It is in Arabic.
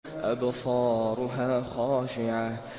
أَبْصَارُهَا خَاشِعَةٌ